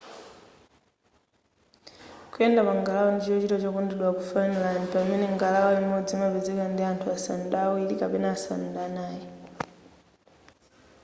kuyenda pa ngalawa ndi chochita chokondedwa ku finland pamene ngalawa imodzi imapezeka pa anthu asanu ndi awiri kapena asanu ndi anai